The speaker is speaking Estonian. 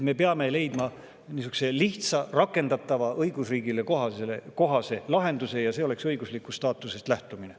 Me peame leidma niisuguse lihtsa, rakendatava ja õigusriigile kohase lahenduse ning see olekski õiguslikust staatusest lähtumine.